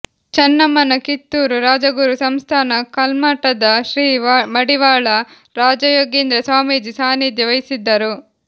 ಚನ್ನಮ್ಮನ ಕಿತ್ತೂರು ರಾಜಗುರು ಸಂಸ್ಥಾನ ಕಲ್ಮಠದ ಶ್ರೀ ಮಡಿವಾಳ ರಾಜಯೋಗೀಂದ್ರ ಸ್ವಾಮೀಜಿ ಸಾನ್ನಿಧ್ಯ ವಹಿಸಿದ್ದರು